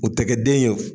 U tɛ kɛ den ye